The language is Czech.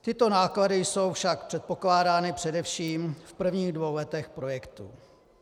Tyto náklady jsou však předpokládány především v prvních dvou letech projektu.